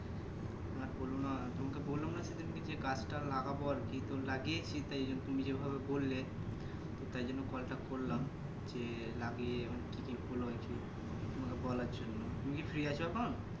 আর বোলো না তোমাকে বললাম না সেই দিনকে যে গাছ টা লাগাবো আরকি তো লাগিয়েছি তাই তুমি যেই ভাবে বললে তাই জন্য Call টা করলাম যে লাগিয়ে অনেক কি কি ফুল হয়েছে তোমাকে বলার জন্যে তুমি কি Free আছো এখন